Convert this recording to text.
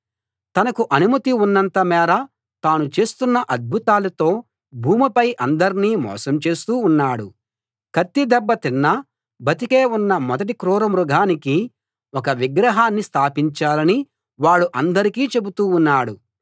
తనకు అనుమతి ఉన్నంత మేర తాను చేస్తున్న అద్భుతాలతో భూమిపై అందర్నీ మోసం చేస్తూ ఉన్నాడు కత్తి దెబ్బ తిన్నా బతికే ఉన్న మొదటి క్రూరమృగానికి ఒక విగ్రహాన్ని స్థాపించాలని వాడు అందరికీ చెబుతూ ఉన్నాడు